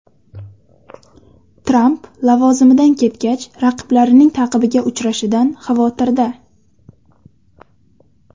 Tramp lavozimidan ketgach raqiblarining ta’qibiga uchrashidan xavotirda.